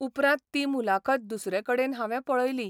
उपरांत ती मुलाखत दुसरे कडेन हावें पळयली.